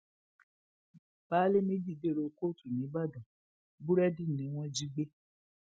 baálé ilé méjì dèrò kóòtù nìbàdàn búrẹdì ni wọn jí gbé